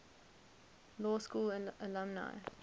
law school alumni